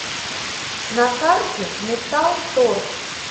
на карте металл торг